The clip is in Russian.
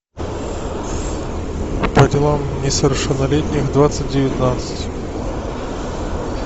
по делам несовершеннолетних двадцать девятнадцать